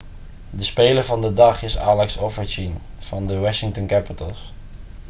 de speler van de dag is alex ovechkin van de washington capitals